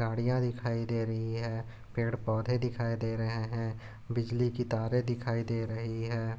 गाड़ियाँ दिखाई दे रही है पेड़ पौधे दिखाई दे रहे है बिजली की तारे दिखाई दे रही है।